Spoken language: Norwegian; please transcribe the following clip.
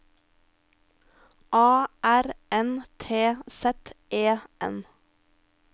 A R N T Z E N